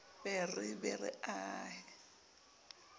be re be re aha